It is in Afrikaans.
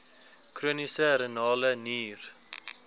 chroniese renale nier